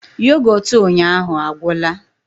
Yoghurt ụnyaahụ agwụla